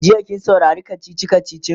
jiya kin saurari kachichi kachichin?